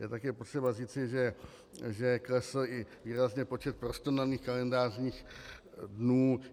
Je také potřeba říci, že klesl i výrazně počet prostonaných kalendářních dnů.